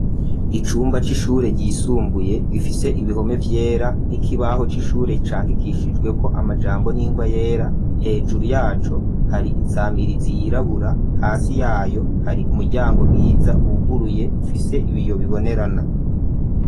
Icumba c'ishure, ryisumbuye, gifise ibihome vyera, n'ikibaho c'ishure, candikishijweko, amajambo, n'ingwa yera; hejuru yaco, hari insamirizi yirabura, hasi yayo, hari umuryango mwiza, wuguruye, ufise ibiyo bibonerana.